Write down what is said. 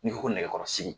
N'i ko ko nɛgɛkɔrɔsigi